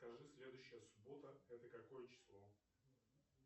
скажи следующая суббота это какое число